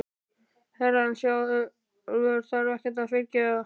Herrann sjálfur þarf ekkert að fyrirgefa.